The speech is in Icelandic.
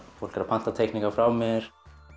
fólk pantar teikningar frá mér